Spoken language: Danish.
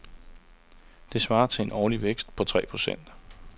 Det svarer til en årlig vækst på tre procent.